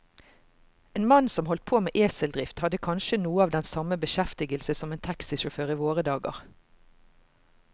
En mann som holdt på med eseldrift, hadde kanskje noe av den samme beskjeftigelse som en taxisjåfør i våre dager.